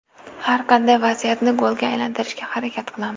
Har qanday vaziyatni golga aylantirishga harakat qilamiz.